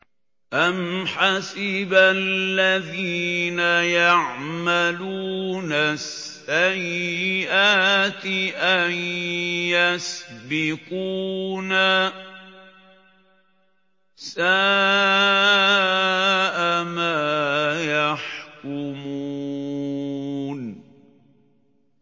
أَمْ حَسِبَ الَّذِينَ يَعْمَلُونَ السَّيِّئَاتِ أَن يَسْبِقُونَا ۚ سَاءَ مَا يَحْكُمُونَ